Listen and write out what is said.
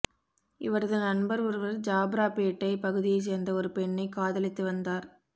இவரது நண்பர் ஒருவர் ஜாப்ராபேட்டை பகுதியைச் சேர்ந்த ஒரு பெண்ணை காதலித்து வந்தார்